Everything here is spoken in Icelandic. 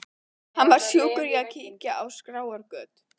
Hann var sjúkur í að kíkja á skráargöt.